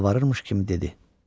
Yalvarırmış kimi dedi.